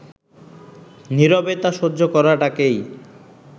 নীরবে তা সহ্য করাটাকেই